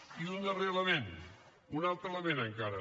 i un darrer element un altre element encara